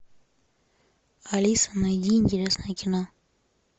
алиса найди интересное кино